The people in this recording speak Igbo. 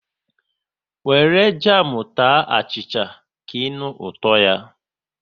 Wéré jamu taa achịcha, ka ịnụ ụtọ ya